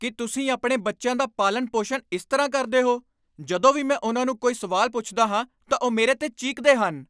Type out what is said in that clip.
ਕੀ ਤੁਸੀਂ ਆਪਣੇ ਬੱਚਿਆਂ ਦਾ ਪਾਲਣ ਪੋਸ਼ਣ ਇਸ ਤਰ੍ਹਾਂ ਕਰਦੇ ਹੋ? ਜਦੋਂ ਵੀ ਮੈਂ ਉਨ੍ਹਾਂ ਨੂੰ ਕੋਈ ਸਵਾਲ ਪੁੱਛਦਾ ਹਾਂ ਤਾਂ ਉਹ ਮੇਰੇ 'ਤੇ ਚੀਕਦੇ ਹਨ